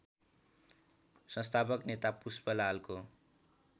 संस्थापक नेता पुष्पलालको